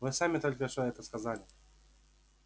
вы сами только что это сказали